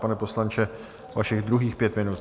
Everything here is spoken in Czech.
Pane poslanče, vašich druhých pět minut.